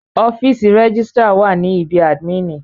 Ọ́fìsì rẹ́gísrà wà ní ibí àdmínìì.